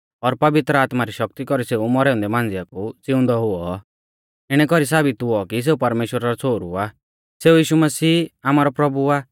और पवित्र आत्मा री शक्ति कौरी सेऊ मौरै औन्दै मांझ़िऐ कु ज़िउंदै हुऔ इणै कौरीऐ साबित हुऔ की सेऊ परमेश्‍वरा रौ छ़ोहरु आ सेऊ यीशु मसीह आमारौ प्रभु आ